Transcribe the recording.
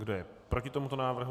Kdo je proti tomuto návrhu?